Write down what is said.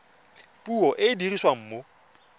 puo e e dirisiwang mo